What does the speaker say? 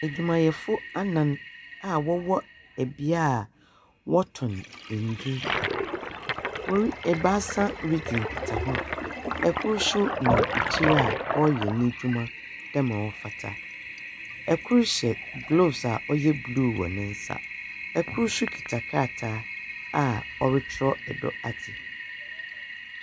Adwumayɛfo anan a wɔwɔ bea a wɔtɔn ndur. Wɔri ebaasa ridzi nkitaho. Kor nso nam ekyir a ɔreyɛ n'edwuma dɛm a ɔfata. Kor hyɛ gloves a ɔyɛ blue wɔ ne nsa. Kor nso kita krataa a wɔretwerɛ do adze.